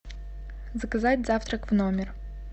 заказать завтрак в номер